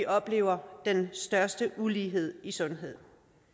oplever den største ulighed i sundhed